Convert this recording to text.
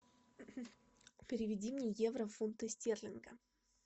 переведи мне евро в фунты стерлингов